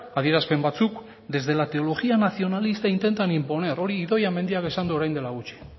adierazpen batzuk desde la teología nacionalista intentan imponer hori idoia mendiak esan du orain dela gutxi